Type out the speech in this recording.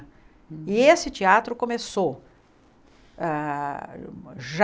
E esse teatro começou ah já...